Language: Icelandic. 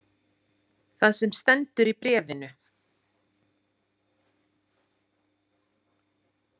Það sem stendur í bréfinu.